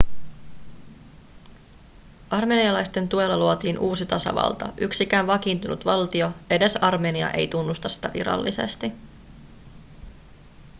armenialaisten tuella luotiin uusi tasavalta yksikään vakiintunut valtio edes armenia ei tunnusta sitä virallisesti